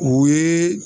O ye